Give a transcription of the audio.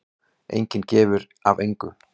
Enginn gefur af engu.